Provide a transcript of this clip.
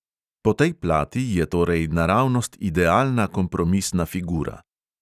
Po tej plati je torej naravnost idealna kompromisna figura.